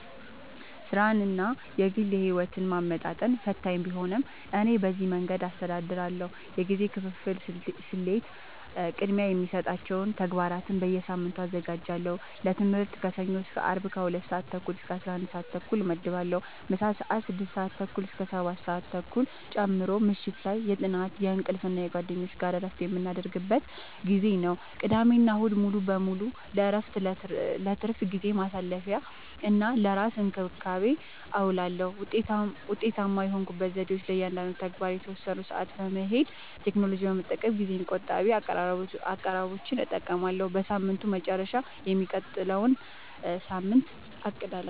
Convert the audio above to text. ሥራንና የግል ሕይወትን ማመጣጠን ፈታኝ ቢሆንም፣ እኔ በዚህ መንገድ አስተዳድራለሁ፦ የጊዜ ክፍፍል ስልቴ፦ · ቅድሚያ የሚሰጣቸውን ተግባራት በየሳምንቱ አዘጋጃለሁ · ለትምህርት ከሰኞ እስከ አርብ ከ 2:30-11:30 እመድባለሁ (ምሳ ሰአት 6:30-7:30 ጨምሮ) · ምሽት ላይ የጥናት፣ የእንቅልፍ እና ከጓደኞች ጋር እረፍት የምናደርግበት ጊዜ ነው። · ቅዳሜና እሁድ ሙሉ በሙሉ ለእረፍት፣ ለትርፍ ጊዜ ማሳለፊ፣ እና ለራስ እንክብካቤ አዉለዋለሁ። ውጤታማ የሆኑኝ ዘዴዎች፦ · ለእያንዳንዱ ተግባር የተወሰነ ሰዓት መድቤያለሁ · ቴክኖሎጂን በመጠቀም ጊዜ ቆጣቢ አቀራረቦችን እጠቀማለሁ · በሳምንቱ መጨረሻ የሚቀጥለውን ሳምንት አቅዳለሁ